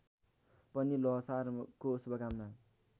पनि ल्होसारको शुभकामना